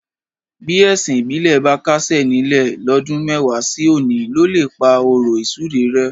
Bí ẹ̀sìn ìbílẹ̀ bá kásẹ̀ nílẹ̀ lọ́dún mẹ́wàá sí òní ló lè pá ọ̀rọ̀ ìsúre rẹ́.